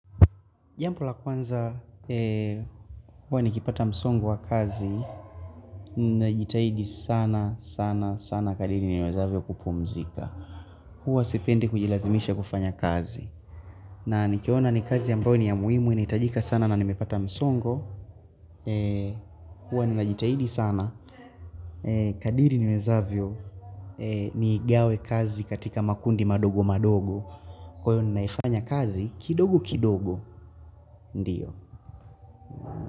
Jampo la kwanza, huwa nikipata msongo wa kazi, ninajitahidi sana, sana, sana kadiri niwezavyo kupumzika. Huwa sipendi kujilazimisha kufanya kazi. Na nikiona ni kazi ambay ni ya muhimu, initajika sana na nimepata msongo. Huwa ninajitahidi sana. Kadiri niwezavyo, niigawe kazi katika makundi madogo madogo. Kwa hiyo ninaifanya kazi, kidogo kidogo, ndiyo.